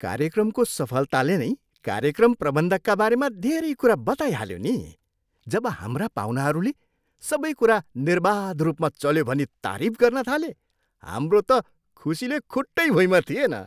कार्यक्रमको सफलताले नै कार्यक्रम प्रबन्धकका बारेमा धेरै कुरा बताइहाल्यो नि। जब हाम्रा पाहुनाहरूले सबै कुरा निर्बाध रूपमा चल्यो भनी तारिफ गर्न थाले, हाम्रो त खुसीले खुट्टै भुइँमा थिएन।